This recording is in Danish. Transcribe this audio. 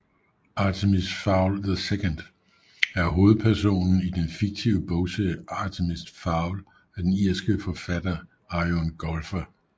Artemis Fowl II er hovedpersonen i den fiktive bogserie Artemis Fowl af den irske forfatter Eoin Colfer